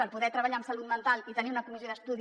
per poder treballar amb salut mental i tenir una comissió d’estudi